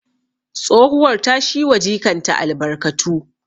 Tsohuwar ta shi wa jikanta albarkatu